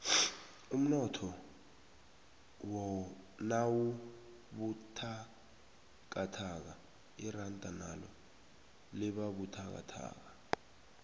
umnotho nawubuthakathaka iranda nalo libabuthakathaka